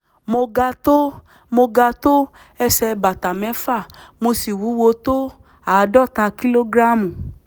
mo ga tó mo ga tó ẹsẹ̀ bàtà mẹ́fà mo sì wúwo tó àádọ́ta kìlógíráàmù